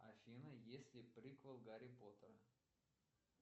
афина есть ли приквел гарри поттера